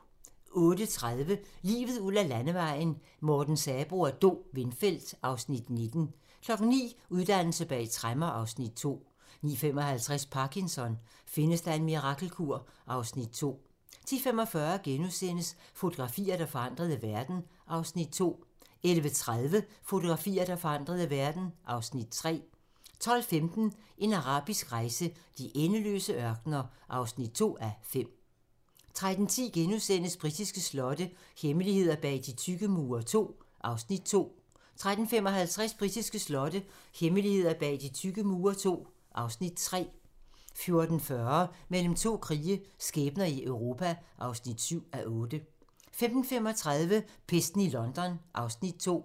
08:30: Livet ud ad landevejen: Morten Sabroe og Do Windfeldt (Afs. 19) 09:00: Uddannelse bag tremmer (Afs. 2) 09:55: Parkinson: Findes der en mirakelkur? (Afs. 2) 10:45: Fotografier, der forandrede verden (Afs. 2)* 11:30: Fotografier, der forandrede verden (Afs. 3) 12:15: En arabisk rejse: De endeløse ørkener (2:5) 13:10: Britiske slotte - hemmeligheder bag de tykke mure II (Afs. 2)* 13:55: Britiske slotte - hemmeligheder bag de tykke mure II (Afs. 3) 14:40: Mellem to krige - skæbner i Europa (7:8) 15:35: Pesten i London (Afs. 2)